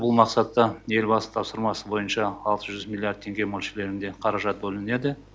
бұл мақсатта елбасы тапсырмасы бойынша алты жүз миллиард теңге мөлшерінде қаражат бөлінеді